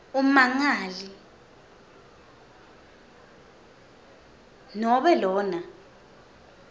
ummangali nobe lona